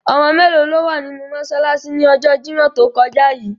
Omo melo lo wa ninu mosalasi ni ojo Jimọ to koja yii?